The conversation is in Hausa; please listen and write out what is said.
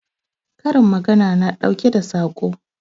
Karin magana na ɗauke da Saƙo